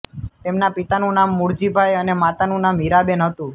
તેમના પિતાનું નામ મૂળજીભાઇ અને માતાનું નામ હીરાબેન હતું